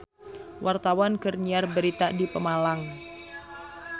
Wartawan keur nyiar berita di Pemalang